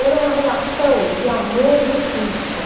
Era uma relação de amor e repulsa.